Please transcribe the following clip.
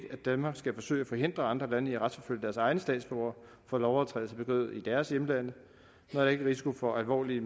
danmark skal forsøge at forhindre andre lande i at retsforfølge deres egne statsborgere for lovovertrædelser begået i deres hjemlande når der ikke risiko for alvorlige